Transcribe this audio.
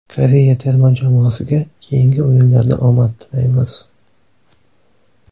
Koreya terma jamoasiga keyingi o‘yinlarda omad tilaymiz.